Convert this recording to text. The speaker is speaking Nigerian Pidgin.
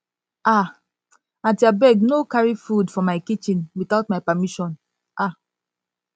um aunty abeg no carry food for my kitchen my kitchen without my permission um